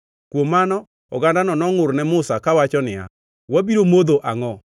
Kuom mano ogandano nongʼur ne Musa kawacho niya, “Wabiro modho angʼo?”